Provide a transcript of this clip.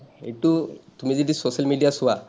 সেইটো তুমি যদি social media চোৱা,